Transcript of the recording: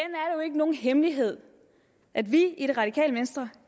nogen hemmelighed at vi i det radikale venstre